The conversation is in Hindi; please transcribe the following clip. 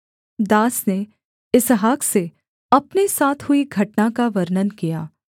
दास ने इसहाक से अपने साथ हुई घटना का वर्णन किया